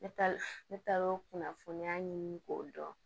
Ne taa ne taar'o kunnafoniya ɲini k'o dɔn